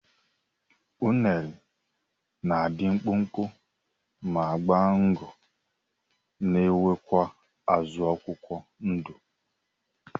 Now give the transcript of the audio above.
unere na adi mkpụkpụ ma gba ngo nwekwa azu akwukwọ ndu